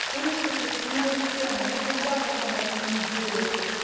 пусть уточняют цены ну хотя бы там раз в неделю